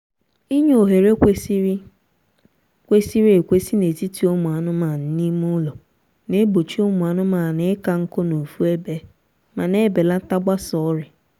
inye ohere kwesịrị kwesịrị ekwesị n'etiti ụmụ anụmanụ n'ime ụlọ na-egbochi ụmụ anụmaanụ ịka nkụ n'ofu ebe ma na-ebelata gbasa ọrịa